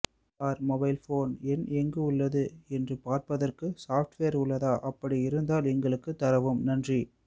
sir mobile phone எண் எங்கு உள்ளது என்று பார்பதற்கு சாப்ட்வேர் உள்ளதா அப்படி இருந்தால் எங்களுக்கு தரவும் நன்றி